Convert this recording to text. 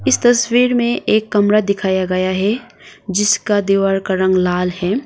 इस तस्वीर में एक कमरा दिखाया गया है जिसका दीवार का रंग लाल है।